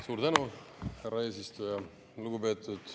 Suur tänu, härra eesistuja!